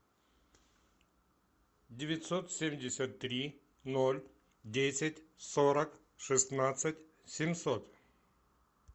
девятьсот семьдесят три ноль десять сорок шестнадцать семьсот